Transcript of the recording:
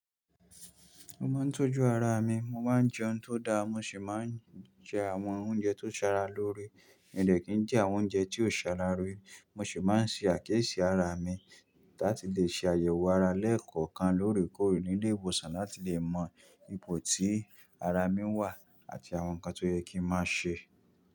Mo máa ń tọ́jú ara mi, mo máa ń jẹ ohun tó da, mo sì máa ń jẹ àwọn oúnjẹ tó ṣara lóore, mi ò dẹ̀ kín jẹ àwọn oúnjẹ tí ò ṣe ara lóore. Mo sì máa ń ṣe àkíyèsí ara mi láti lè ṣe àyẹ̀wò ara lẹ́ẹ̀kọ̀kan lóòrèkóòrè ní ilé ìwòsàn láti lè mọ ipò tí ara mi wà àti àwọn nǹkan tó yẹ kí n máa ṣe.